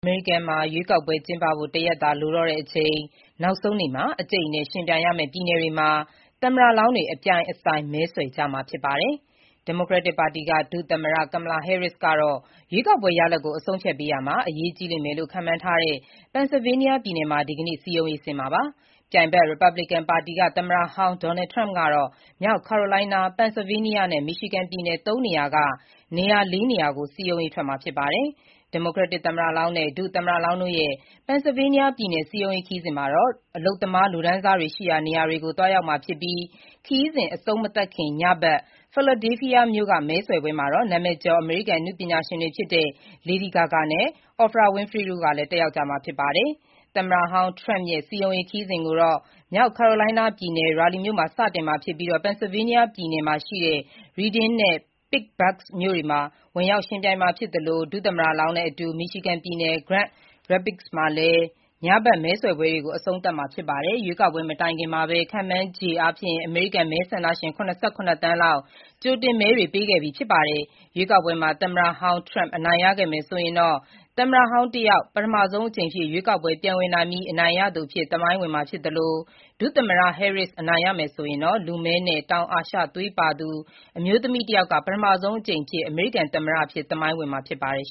အမေရိကန်မှာ ရွေးကောက်ပွဲကျင်းပဖို့ တရက်သာလိုတော့တဲ့အချိန် နောက်ဆုံးနေ့မှာ အကြိတ်အနယ် ယှဉ်ပြိုင်ရမယ့်ပြည်နယ်တွေမှာ သမ္မတလောင်းတွေ အပြိုင်အဆိုင် မဲဆွယ်ကြမှာဖြစ်ပါတယ်။ ဒီမိုကရက်တစ်ပါတီက ဒုသမ္မတ Kamala Harris ကတော့ ရွေးကောက်ပွဲရလဒ်ကို အဆုံးအဖြတ်ပေး ရာမှာ အရေးကြီးလိမ့်မယ်လို့ ခန့်မှန်းထားတဲ့ Pennsylvania ပြည်နယ်မှာ ဒီကနေ့ စည်းရုံးရေးဆင်း မှာပါ။ ပြိုင်ဘက် ရီပတ်ဘလစ်ကန်ပါတီက သမ္မတဟောင်း Donald Trump ကတော့ မြောက် Carolina, Pennsylvania နဲ့ Michigan ပြည်နယ် ၃ ခုက ၄ နေရာကို စည်းရုံးရေးထွက်မှာ ဖြစ်ပါတယ်။ ဒီမိုကရက်တစ်သမ္မတလောင်းနဲ့ ဒုသမ္မတလောင်းတို့ရဲ့ Pennsylvania ပြည်နယ်စည်းရုံးရေးခရီးစဉ် မှာတော့ အလုပ်သမားလူတန်းစားတွေရှိတဲ့နေရာတွေကို သွားကြမှာဖြစ်ပြီး ခရီးစဉ် အဆုံးမသတ်ခင် ညဘက် Philadelphia မြို့က မဲဆွယ်ပွဲမှာတော့ နာမည်ကျော် အမေရိကန်အနုပညာရှင်တွေဖြစ်တဲ့ Lady Gaga နဲ့Oprah Winfrey တို့လည်း တက်ရောက်ကြမှာပါ။ သမ္မတဟောင်း Trump ရဲ့ စည်းရုံးရေးခရီးစဉ်ကိုတော့ မြောက် Carolina ပြည်နယ် Raleigh မြို့မှာ စတင်ပြီးPennsylvania ပြည်နယ် Reading နဲ့ Pittsburgh မြို့တွေကို ဝင်ရောက်မှာဖြစ်သလို ဒုသမ္မတ လောင်းနဲ့အတူ Michigan ပြည်နယ်၊ Grand Rapids မှာ ညဘက်မဲဆွယ်ပွဲတွေကို အဆုံးသတ်မှာ ဖြစ်ပါတယ်။ ရွေးကောက်ပွဲမတိုင်ခင်မှာပဲ ခန့်မှန်းခြေ အမေရိကန်မဲဆန္ဒရှင် ၇၇ သန်းလောက် ကြိုတင်မဲတွေ ပေးခဲ့ပြီးဖြစ်ပါတယ်။ရွေးကောက်ပွမှာ သမ္မတဟောင်း Trump အနိုင်ရခဲ့မယ်ဆိုရင် သမ္မတဟောင်း တယောက် ပထမဆုံးအကြိမ်ရွေးကောက်ပွဲပြန်ဝင်ပြီး အနိုင်ရသူအဖြစ် သမိုင်းဝင်မှာဖြစ်သလို ဒုသမ္မတ Harris အနိုင်ရမယ်ဆိုရင်တော့ ပထမဆုံးအမျိုးသမီးလည်းဖြစ်၊ လူမည်းနဲ့ တောင်အာရှ သွေးပါသူတယောက် ပထမဆုံးအကြိမ် အမေရိကန်သမ္မတအဖြစ်သမိုင်းဝင်မှာ ဖြစ်ပါတယ်